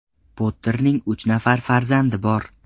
Potterning uch nafar farzandi bor.